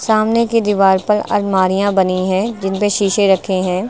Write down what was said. सामने की दीवार पर अलमारियां बनी हैं जिन पे शीशे रखे हैं।